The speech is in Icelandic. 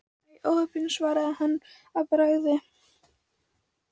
Æi, óheppin svaraði hann að bragði.